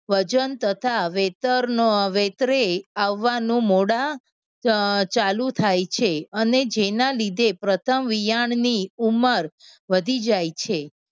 વજન તથા વૈતર વેતરે આવવાનું મોડા ચાલુ થાય છે. અને જેના લીધે પ્રથમ વિયાળની ઉંમર વધી જાય છે.